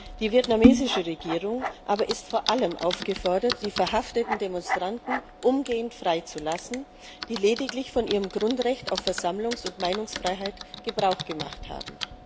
Die vietnamesische Regierung aber ist vor allem aufgefordert, die verhafteten Demonstranten umgehend freizulassen, die lediglich von ihrem Grundrecht auf Versammlungs und Meinungsfreiheit Gebrauch gemacht haben.